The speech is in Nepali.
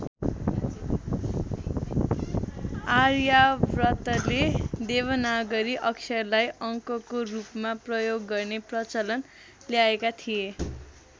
आर्यावर्तले देवनागरी अक्षरलाई अङ्कको रूपमा प्रयोग गर्ने प्रचलन ल्याएका थिए।